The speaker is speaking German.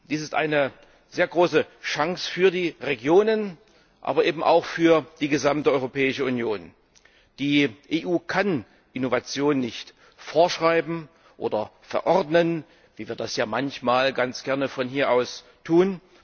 Dies ist eine sehr große Chance für die Regionen, aber eben auch für die gesamte Europäische Union. Die EU kann Innovation nicht vorschreiben oder verordnen, wie wir das ja manchmal ganz gerne von hier aus tun.